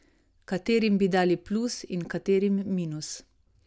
Katerim bi dali plus in katerim minus?